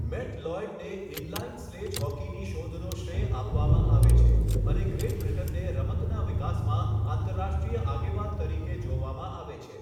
Matt લોય્ડને inline sledge હોકીની શોધનો શ્રેય આપવામાં આવે છે અને ગ્રેટ બ્રિટનને રમતના વિકાસમાં આંતરરાષ્ટ્રીય આગેવાન તરીકે જોવામાં આવે છે.